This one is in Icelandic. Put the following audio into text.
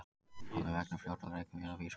Máli vegna frjálsra rækjuveiða vísað frá